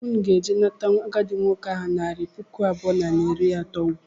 Ụnụ ga - eje nata agadị nwoke ahụ naira pụkụ abụọ naira iri atọ ụgbụa!!!!!!!